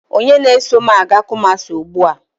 Onye na-eso m aga kumasi ugbua?